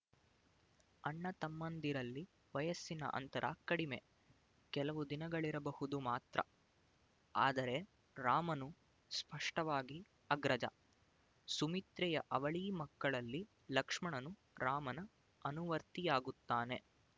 ಅಣ್ಣ ತಮ್ಮಂದಿರಲ್ಲಿ ವಯಸ್ಸಿನ ಅಂತರ ಕಡಮೆ ಕೆಲವು ದಿನಗಳಿರಬಹುದು ಮಾತ್ರ ಆದರೆ ರಾಮನು ಸ್ಪಷ್ಟವಾಗಿ ಅಗ್ರಜ ಸುಮಿತ್ರೆಯ ಅವಳಿ ಮಕ್ಕಳಲ್ಲಿ ಲಕ್ಷ್ಮಣನು ರಾಮನ ಅನುವರ್ತಿಯಾಗುತ್ತಾನೆ